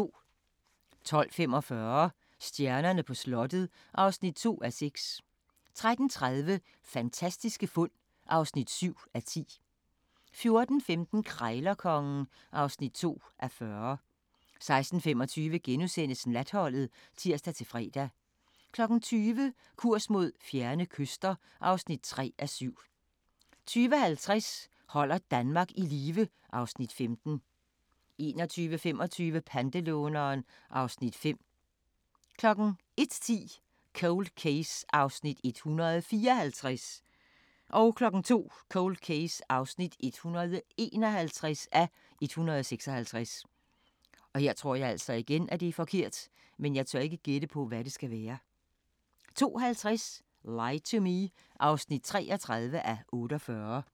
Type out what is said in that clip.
12:45: Stjernerne på slottet (2:6) 13:30: Fantastiske fund (7:10) 14:15: Krejlerkongen (2:40) 16:25: Natholdet *(tir-fre) 20:00: Kurs mod fjerne kyster (3:7) 20:50: Holder Danmark i live (Afs. 15) 21:25: Pantelåneren (Afs. 5) 01:10: Cold Case (154:156) 02:00: Cold Case (151:156) 02:50: Lie to Me (33:48)